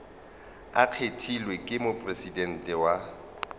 a kgethilwego ke mopresidente wa